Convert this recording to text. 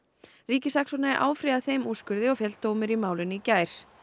ríkissaksóknari áfrýjaði þeim úrskurði og féll dómur í málinu í gær